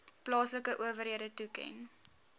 plaaslike owerhede toeken